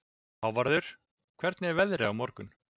Hávarður, hvernig er veðrið á morgun?